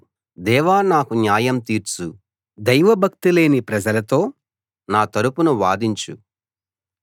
దేవా నాకు న్యాయం తీర్చు దైవభక్తిలేని ప్రజలతో నా తరుపున వాదించు